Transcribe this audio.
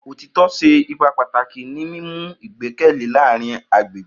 Otitọ ṣe ipa pataki ni mimu igbẹkẹle laarin agbegbe.